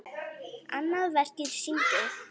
Annað verkið sýndi